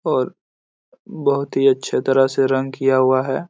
और बहुत ही अच्छे तरह से रंग किया हुआ है।